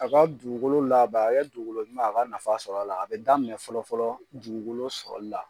A ka dugukolo laban a ya dugukolo ɲuman a ka nafa sɔrɔ a la a bɛ daminɛ fɔlɔ fɔlɔ dugukolo sɔrɔli la.